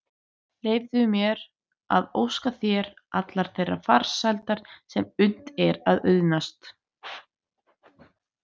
Leyfðu mér að óska þér allrar þeirrar farsældar sem unnt er að auðnast.